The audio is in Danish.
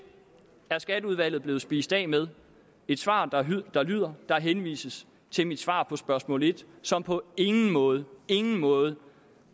er skatteudvalget blevet spist af med et svar der lyder der lyder der henvises til mit svar på spørgsmål en som på ingen måde ingen måde